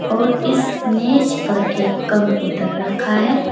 और इस मेज पर एक कम्पुटर रखा है।